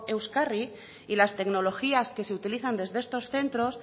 euskarri y las tecnologías que se utilizan desde estos centros